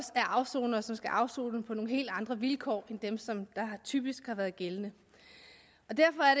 afsonere som skal afsone på nogle helt andre vilkår end dem som typisk har været gældende derfor er